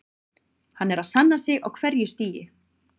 Hann er að sanna sig á hverju stigi.